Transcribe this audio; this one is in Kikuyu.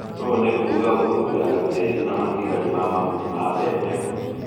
Oũnĩkuga ũhumbĩraga tĩri na matigari ma mahuti na mabembe.